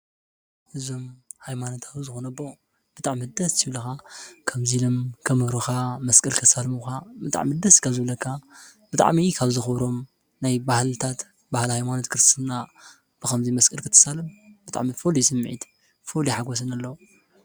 እዞም ኣይማነታዊ ዝኾነቦ ብጥዕ ምደስ ሲብለኻ ከምዙይ ኢለም ከምሩኻ መስቅድ ክትሳልምኻ ብጣዕ ምደስ ካብ ዘብለካ ብጥዕሚኢ ካብ ዝኾሮም ናይ ባህልልታት በሃል ኣይማኖት ክርትና ብኸምዙይ መስቅል ክትሳልም ብጥዕሚ ፈልዩ ስምዕት ፈል ይሓጐስን ኣለዉ